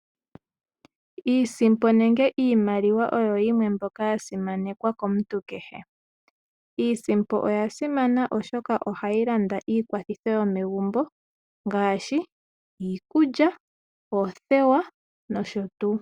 Iisimpo nenge iimaliwa oyo yimwe mbyoka ya simakekwa komuntu kehe, iisimpo oya simana oshoka oha yi landa iikwathitho yo megumbo ngaashi iikulya, oothewa nosho tuu.